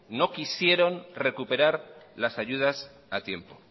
no quisieron recuperar las ayudas a tiempo